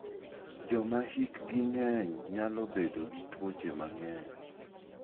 Joma hikgi ng'eny nyalo bedo gi tuoche mang'eny.